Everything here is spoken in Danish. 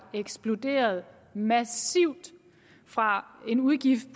eksploderet massivt fra en udgift